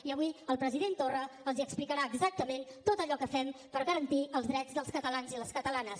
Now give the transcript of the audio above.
i avui el president torra els explicarà exactament tot allò que fem per garantir els drets dels catalans i les catalanes